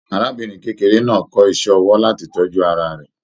Arábìnrin kékeré náà kọ iṣẹ ọwọ láti tọjú ara rẹ.